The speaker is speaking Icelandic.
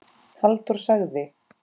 Halldór sagði